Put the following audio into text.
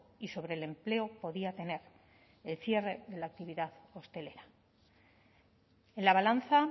y sobre el empleo podía tener el cierre de la actividad hostelera en la balanza